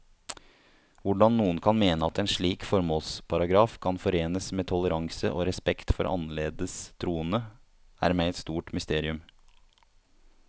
Hvordan noen kan mene at en slik formålsparagraf kan forenes med toleranse og respekt for annerledes troende, er meg et stort mysterium.